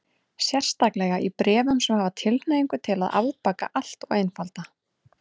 Sérstaklega í bréfum sem hafa tilhneigingu til að afbaka allt og einfalda.